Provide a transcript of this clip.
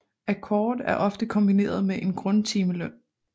Akkord er ofte kombineret med en grundtimeløn